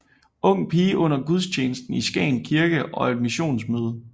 Ung pige under gudstjenesten i Skagen kirke og Et missionsmøde